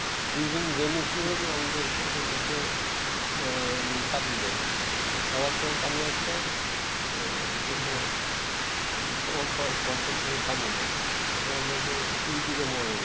during rainy season আমাদের ইশে পানি দেয় আর খরার সময় পানি আটকায় ইশের সময় বর্ষার সময় পানি দেয় তাতে আমাদের দুই দিকে মরণ ।